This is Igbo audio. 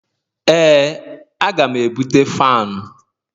Ee aga m ebute fanu